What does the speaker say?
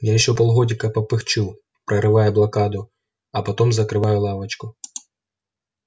я ещё полгодика попыхчу прорывая блокаду а потом закрываю лавочку